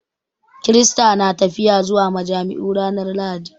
Kirista na tafiya zuwa majami'u ranar Lahadi